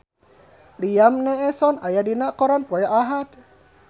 Liam Neeson aya dina koran poe Ahad